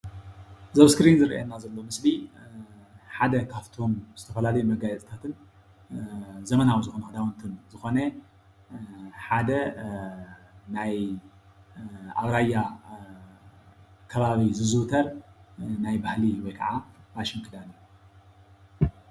እዚ ዝረአየና ዘሎ ምስሊ ሓደ ካብቶም ዘመናዊ መጋፅታትን ኣብራያ ዝዝውተር ፋሽን ክዳን እዩ።